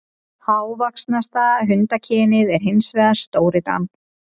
Hávaxnasta hundakynið er hins vegar stórdaninn.